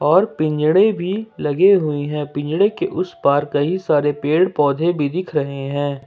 और पिंजड़े भी लगे हुए हैं पिंजड़े के उस पार कई सारे पेड़ पौधे भी दिख रहे हैं।